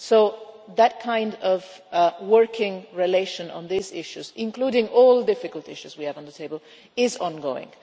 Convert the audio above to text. So that kind of working relation on these issues, including all difficult issues we have on the table, is ongoing.